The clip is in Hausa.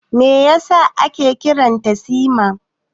Me yasa ake kiran ta Sima?